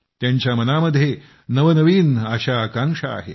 त्यांच्या मनामध्ये नवनवीन आशाआकांक्षा आहेत